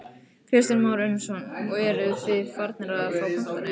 Kristján Már Unnarsson: Og eruð þið farnir að fá pantanir?